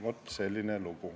Vot selline lugu.